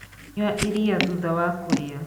Nyua iria thutha wa kũrĩa.